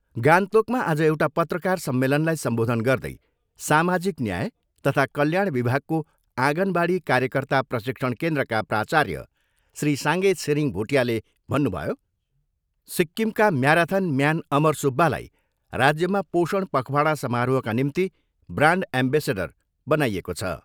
गान्तोकमा आज एउटा पत्रकार सम्मेलनलाई सम्बोधन गर्दै सामाजिक न्याय तथा कल्याण विभागको आँगनबाडी कार्यकर्ता प्रशिक्षण केन्द्रका प्राचार्य श्री साङ्गे छिरिङ भुटियाले भन्नुभयो, सिक्किमका म्याराथन म्यान अमर सुब्बालाई राज्यमा पोषण पखवाडा समारोहका निम्ति ब्रान्ड एमवेसेडर बनाइएको छ।